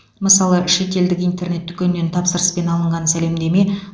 мысалы шетелдік интернет дүкеннен тапсырыспен алынған сәлемдеме